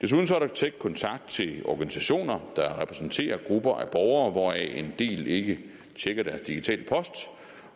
tæt kontakt til organisationer der repræsenterer grupper af borgere hvoraf en del ikke tjekker deres digitale post